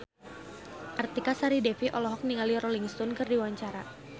Artika Sari Devi olohok ningali Rolling Stone keur diwawancara